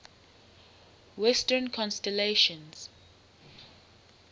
western constellations